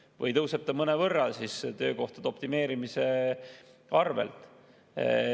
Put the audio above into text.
Kui jah, siis tõuseb see mõnevõrra töökohtade optimeerimise abil.